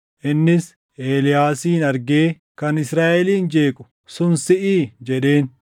Innis Eeliyaasin argee, “Kan Israaʼelin jeequ sun siʼii?” jedheen.